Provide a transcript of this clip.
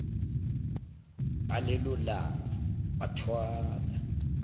ngalelo langa wathwala